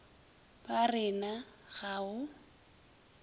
ba re na ga o